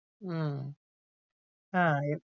উম হ্যাঁ,